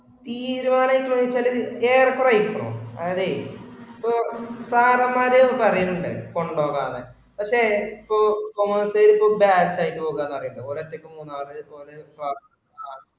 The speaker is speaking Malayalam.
തീരുമാന്താന്ന്വെച്ചാല് ഇപ്പൊ sir മാര് പറയുന്നുണ്ട് കൊണ്ടോവാന്ന് പക്ഷേ ഇപ്പൊ commerce ippo batch ആയി പോക പറയുന്ന് ഓല് ഒറ്റയ്ക്ക് മൂന്നാർ ഓല്